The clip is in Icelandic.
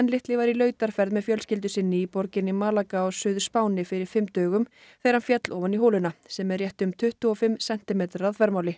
litli var í með fjölskyldu sinni borginni á Suður Spáni fyrir fimm dögum þegar hann féll ofan í holuna sem er rétt um tuttugu og fimm sentimetrar að þvermáli